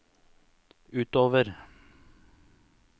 utover